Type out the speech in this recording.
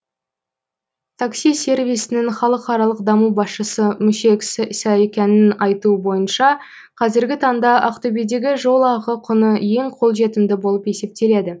такси сервисінің халықаралық даму басшысы мушег саакянның айту бойынша қазіргі таңда ақтөбедегі жол ақы құны ең қолжетімді болып есептеледі